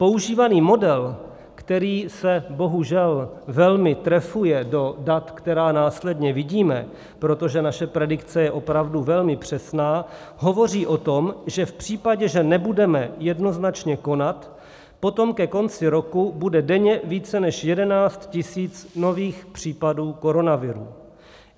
Používaný model, který se bohužel velmi trefuje do dat, která následně vidíme, protože naše predikce je opravdu velmi přesná, hovoří o tom, že v případě, že nebudeme jednoznačně konat, potom ke konci roku bude denně více než 11 tisíc nových případů koronaviru.